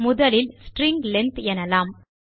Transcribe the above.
முதலில் string length எனலாம்